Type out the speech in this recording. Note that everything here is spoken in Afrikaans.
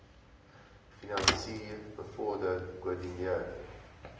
finansier bevorder koördineer